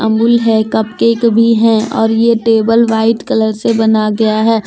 अमूल है cupcake भी है और ये टेबल वाइट कलर से बनाया गया है।